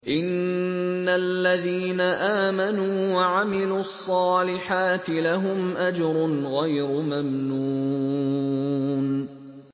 إِنَّ الَّذِينَ آمَنُوا وَعَمِلُوا الصَّالِحَاتِ لَهُمْ أَجْرٌ غَيْرُ مَمْنُونٍ